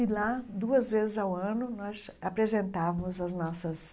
E lá, duas vezes ao ano, nós apresentávamos as nossas